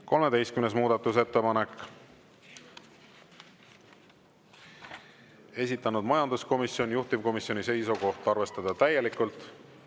13. muudatusettepanek, esitanud majanduskomisjon, juhtivkomisjoni seisukoht on arvestada täielikult.